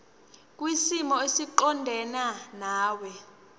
kwisimo esiqondena nawe